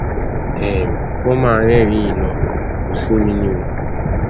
um ó mà ń rẹrìnín yìí lọ kò sinmi ni o